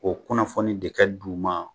O kunnafoni de ka d'u ma